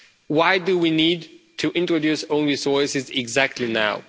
Why do we need to introduce own resources exactly now?